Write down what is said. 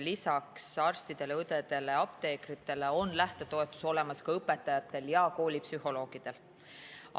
Lisaks arstidele, õdedele ja apteekritele on lähtetoetus olemas ka õpetajatel ja koolipsühholoogidel.